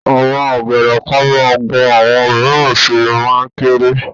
Àwọn ọ̀gẹ̀dẹ̀ kan máa ń gùn àwọn mìíràn sì máa ń kéré.